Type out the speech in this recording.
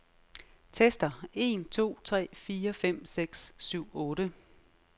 Tester en to tre fire fem seks syv otte.